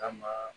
Kama